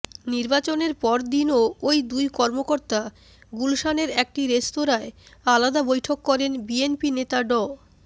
নির্বাচনের পরদিনও ঐ দুই কর্মকর্তা গুলশানের একটি রেস্তোরাঁয় আলাদা বৈঠক করেন বিএনপি নেতা ড